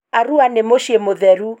Arua nĩ muciĩ mutheru.